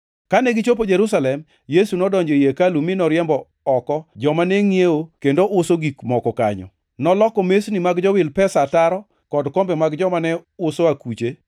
Kane gichopo Jerusalem, Yesu nodonjo ei hekalu mi noriembo oko joma ne ngʼiewo kendo uso gik moko kanyo. Noloko mesni mag jowil pesa ataro kod kombe mag joma ne uso akuche,